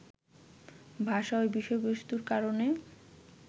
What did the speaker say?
ভাষা ও বিষয়বস্তুর কারণে